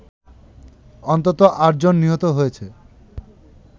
অন্তত ৮ জন নিহত হয়েছে